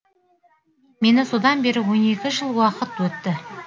мені содан бері он екі жыл уақыт өтті